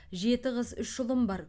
жеті қыз үш ұлым бар